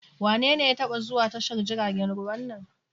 Wanene ya taba zuwa tashar jiragen ruwa a nan?